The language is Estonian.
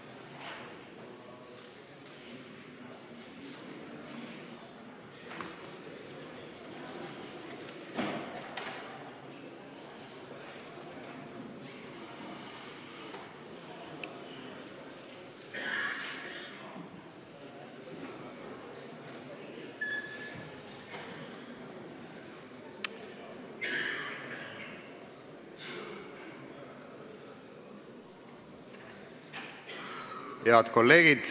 Kohaloleku kontroll Head kolleegid!